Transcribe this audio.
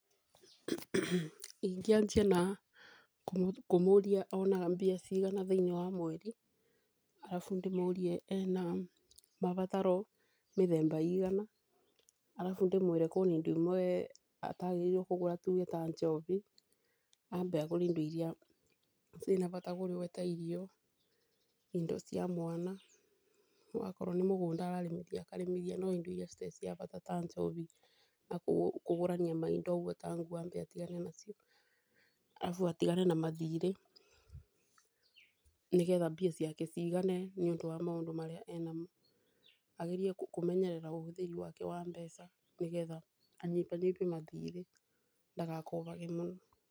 Ingĩanjia kũmũria onaga mbia cigana thĩinĩ wa mweri, arabu ndĩmũrie ena mabataro mĩthemba igana arabu ndĩmwĩre kwĩna indo imwe atagĩrĩirwo nĩ kũgũra ta njobi ambe agũre indo iria ciĩna bata mũno ta irio, indo cia mwana akorwo nĩ mũgunda ambe akarĩmithie. No indo iria citarĩ na bata ta njobi na kũgũrania maindo ũguo ta nguo ambe atigane nacio. Arabu atigane na mathirĩ, nĩ getha mbia ciake cigane nĩ ũndũ wa maũndũ marĩa enamo. Agerie kũmenyerera ũbũthĩri wake wa mbeca nĩ gethga anyibanyibie mathirĩ ndagakombage mũno.